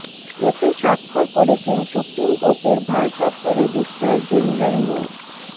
এতে স্বাক্ষর করেছেন সুপ্রিম কোর্টের ভারপ্রাপ্ত রেজিস্ট্রার জেনারেল মো